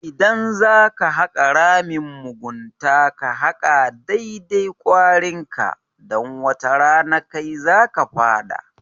Idan zaka haka ramin mugunta ka haka dai-dai kwarinka, dan wata rana kai zaka fada.